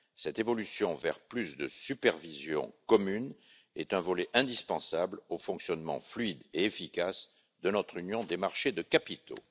Cette évolution vers plus de supervision commune est un volet indispensable au fonctionnement fluide et efficace de notre union des marchés des capitaux.